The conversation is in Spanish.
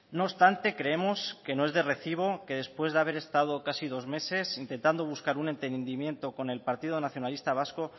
no obstante creemos que no es de recibo que después de haber estado casi dos meses intentando buscar un entendimiento con el partido nacionalista vasco